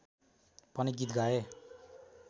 पनि गीत गाए